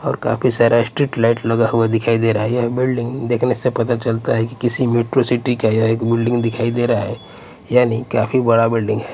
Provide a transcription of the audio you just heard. और काफी सारा स्ट्रीट लाइट लगा हुआ दिखाई दे रहा है यह बिल्डिंग देखने से पता चलता है कि किसी मेट्रो सिटी का या एक बिल्डिंग दिखाई दे रहा है यानी काफी बड़ा बिल्डिंग है।